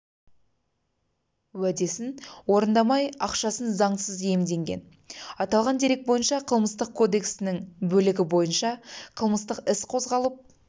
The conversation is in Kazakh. уәдесін орындамай ақшасын заңсыз иемденген аталған дерек бойынша қылмыстық кодексінің бөлігі бойынша қылмыстық іс қозғалып